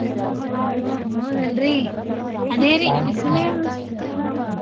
ಆಹ್ ಹೌದ ಅಲ್ರಿ ಅದೇರಿ ಬಿಸಿಲೆ ಅಷ್ಟು ಅದರಿ.